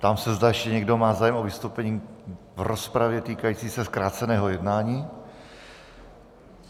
Ptám se, zda ještě někdo má zájem o vystoupení v rozpravě týkající se zkráceného jednání.